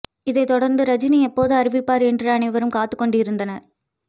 இதைத் தொடர்ந்து ரஜினி எப்போது அறிவிப்பார் என்று அனைவரும் காத்துக் கொண்டிருந்தனர்